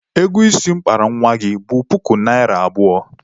Ego isi m kpara nwa gị bụ puku naịra abụọ.